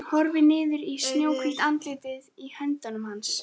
Hún horfir niður í snjóhvítt andlitið í höndum hans.